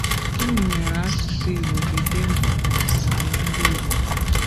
Gịnị mere asụsụ Igbo ji dị mkpa n’ọdinala ndị Igbo?